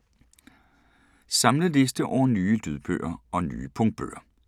Samlet liste over nye lydbøger og nye punktbøger